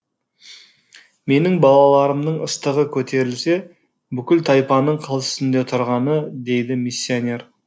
менің балаларымның ыстығы көтерілсе бүкіл тайпаның қыл үстінде тұрғаны дейді миссионер